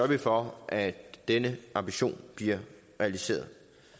vi for at denne ambition bliver realiseret